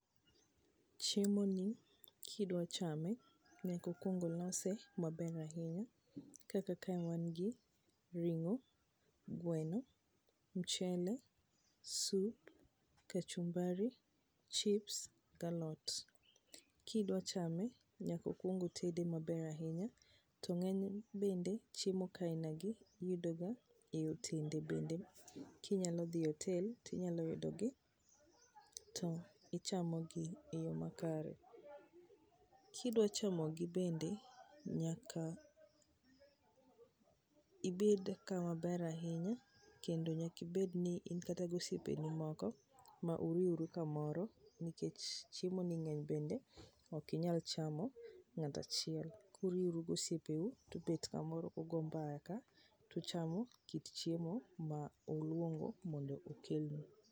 Chiemoni kidwa chame nyaka kuong olose maber ahinya kaka kae wan gi ring'o, gweno, mchele, sup, kachumbari, chips gi alot. Kidwa chame. nyaka okuong otede maber ahinya, to ng'eny bende chiemo kaina gi iyudo ga e otende bende, kinyalo dhi e otel, tinyalo yudo gi ti ichamo gi e yo makare. Kidwa chamo gi bende, nyaka ibed kama ber ahinya kendo nyaka ibed ni in ka gi osiepeni moko ma uriuru kamoro nikech chiemoni ng'eny bende ok inyal chama ng'at achiel. Kuriuru gosiepe u, tubet kamoro ugo mbaka, tuchamo kit chiemo ma uluongo mondo okelnu.